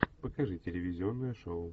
покажи телевизионное шоу